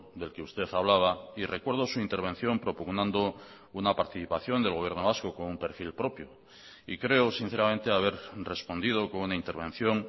del que usted hablaba y recuerdo su intervención propugnando una participación del gobierno vasco con un perfil propio y creo sinceramente haber respondido con una intervención